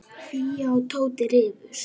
Fía og Tóti rifust.